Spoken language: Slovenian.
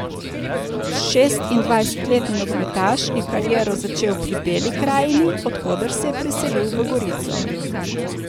Šestindvajsetletni nogometaš je kariero začel pri Beli Krajini, od koder se je preselil v Gorico.